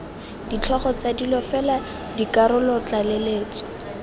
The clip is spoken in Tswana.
ditlhogo tsa dilo fela dikarolotlaleletso